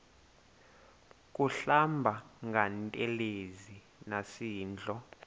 kuhlamba ngantelezi nasidlo